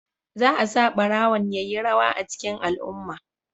Za a sa barawon ya yi rawa a cikin al'umma.